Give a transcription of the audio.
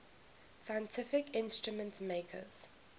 scientific instrument makers